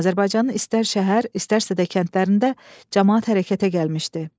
Azərbaycanın istər şəhər, istərsə də kəndlərində camaat hərəkətə gəlmişdi.